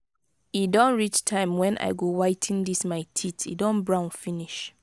e don reach time wen i go whi ten dis my teeth e don brown finish.